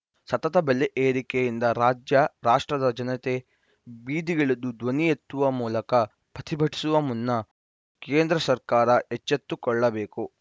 ಸತತ ಬೆಲೆ ಏರಿಕೆಯಿಂದ ರಾಜ್ಯ ರಾಷ್ಟ್ರದ ಜನತೆ ಬೀದಿಗಿಳಿದು ಧ್ವನಿ ಎತ್ತುವ ಮೂಲಕ ಪ್ರತಿಭಟಿಸುವ ಮುನ್ನ ಕೇಂದ್ರ ಸರ್ಕಾರ ಎಚ್ಚೆತ್ತುಕೊಳ್ಳಬೇಕು